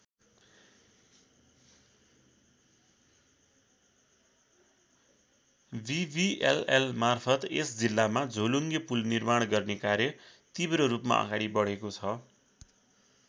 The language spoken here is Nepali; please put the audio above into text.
विविएलएल मार्फत् यस जिल्लामा झोलुङ्गे पुल निर्माण गर्ने कार्य तिब्र रूपमा अगाडि बढेको छ।